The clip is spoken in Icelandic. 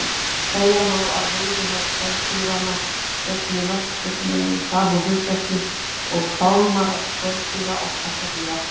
Segja má að veiðihár spendýranna gegni nokkurn veginn sama hlutverki og fálmarar skordýra og krabbadýra.